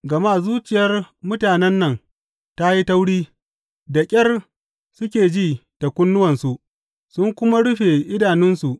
Gama zuciyar mutanen nan ta yi tauri; da ƙyar suke ji da kunnuwansu, sun kuma rufe idanunsu.